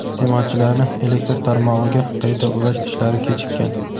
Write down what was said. iste’molchilarni elektr tarmog‘iga qayta ulash ishlari kechikkan.